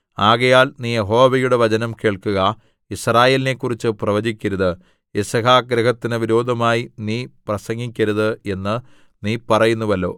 ആകയാൽ നീ യഹോവയുടെ വചനം കേൾക്കുക യിസ്രായേലിനെക്കുറിച്ച് പ്രവചിക്കരുത് യിസ്‌ഹാക്ക്ഗൃഹത്തിനു വിരോധമായി നീ പ്രസംഗിക്കരുത് എന്ന് നീ പറയുന്നുവല്ലോ